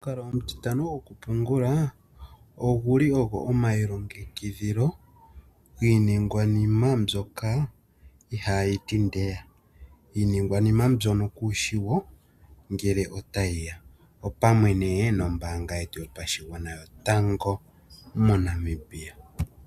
Omukalo omutitano gokupungula oguli ogo omailongekidhilo giiningwanima mbyoka ihayi ti ndeya, iiningwanima mbyono kushi wo ngele otayi ya, opamwe nee nombaanga yetu yopashigwana yotango moNamibia.